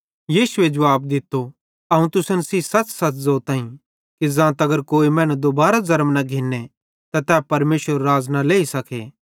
यीशुए जुवाब दित्तो अवं तुसन सेइं सच़सच़ ज़ोतां कि ज़ां तगर कोई मैनू दुबारो ज़र्म न घिन्ने त तै परमेशरेरू राज़ न लेई सके